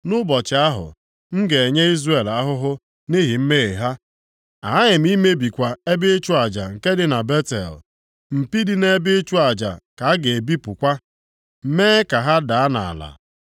“Nʼụbọchị ahụ, m ga-enye Izrel ahụhụ nʼihi mmehie ha, aghaghị m imebikwa ebe ịchụ aja nke dị na Betel. Mpi dị nʼebe ịchụ aja ka a ga-ebipụkwa, mee ka ha daa nʼala.